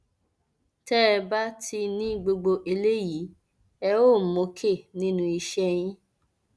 tẹ ẹ bá ti ní gbogbo eléyìí ẹ óò mókè nínú iṣẹ yìí